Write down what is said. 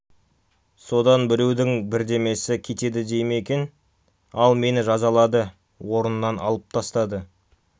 содан біреудің бердемесі кетеді дей ме екен ал мені жазалады орнымнан алып тастады